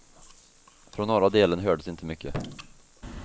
Från norra delen hördes inte mycket.